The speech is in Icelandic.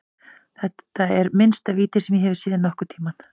Þetta er minnsta víti sem ég hef séð nokkurntímann.